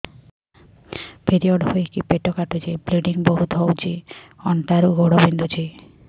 period ହୋଇକି ପେଟ କାଟୁଛି ବ୍ଲିଡ଼ିଙ୍ଗ ବହୁତ ହଉଚି ଅଣ୍ଟା ରୁ ଗୋଡ ବିନ୍ଧୁଛି